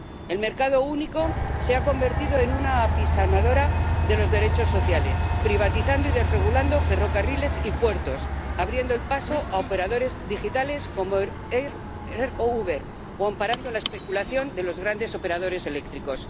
El mercado único se ha convertido en una apisonadora de los derechos sociales, privatizando y desregulando ferrocarriles y puertos, abriendo el paso a operadores digitales como Airbnb o Hoover, o amparando la especulación de los grandes operadores eléctricos.